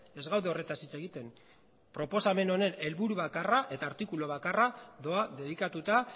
ez gaude horretaz hitz egiten proposamen honen helburu bakarra eta artikulu bakarra doa dedikatuta